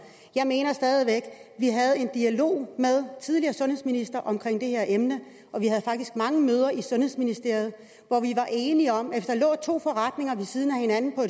jeg mener stadig væk at vi havde en dialog med tidligere sundhedsminister om det her emne og vi havde faktisk mange møder i sundhedsministeriet hvor vi var enige om at hvis der lå to forretninger ved siden af hinanden på